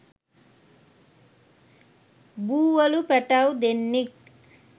බූවලු පැටව් දෙන්නෙක්